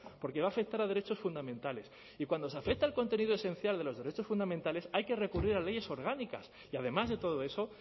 porque va a afectar a derechos fundamentales y cuando se afecta al contenido esencial de los derechos fundamentales hay que recurrir a leyes orgánicas y además de todo eso